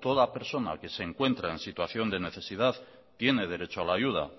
toda persona que se encuentra en situación de necesidad tiene derecho a la ayuda